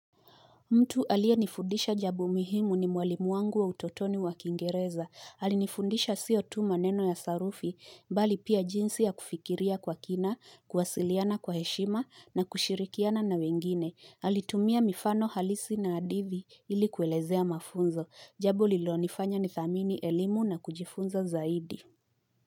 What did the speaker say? Mtu aliyenifundisha jambo muhimu ni mwalimu wangu wa utotoni wa kingereza. Alinifundisha sio tu maneno ya sarufi, mbali pia jinsi ya kufikiria kwa kina, kuwasiliana kwa heshima na kushirikiana na wengine. Alitumia mifano halisi na hadithi ili kuelezea mafunzo. Jambo lililonifanya nithamini elimu na kujifunza zaidi.